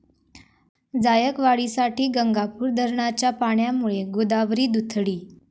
जायकवाडीसाठी गंगापूर धरणाच्या पाण्यामुळे गोदावरी दुथडी